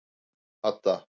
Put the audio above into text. Hadda